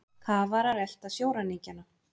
Kafarar elta sjóræningjana